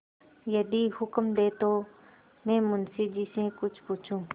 यदि हुक्म दें तो मैं मुंशी जी से कुछ पूछूँ